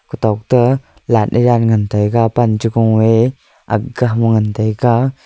kothokto light ye jaan ngantaga pan che gung ye ag ga am ngantaga.